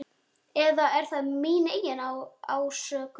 Eða er það mín eigin ásökun?